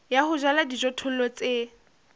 ya ho jala dijothollo tse